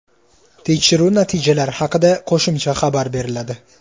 Tekshiruv natijalari haqida qo‘shimcha xabar beriladi.